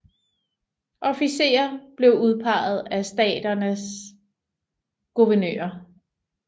Officerer blev udpeget af staternes guvernører